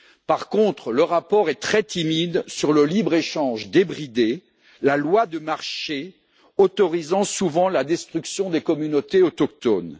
Par contre, le rapport est très timide sur le libre échange débridé, la loi du marché autorisant souvent la destruction des communautés autochtones.